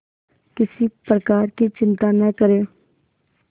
किसी प्रकार की चिंता न करें